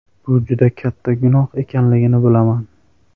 Bu juda katta gunoh ekanligini bilaman!